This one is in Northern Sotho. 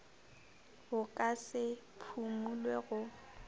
bo ka se phumulwe go